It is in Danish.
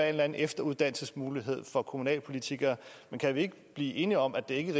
eller anden efteruddannelsesmulighed for kommunalpolitikere men kan vi ikke blive enige om at det ikke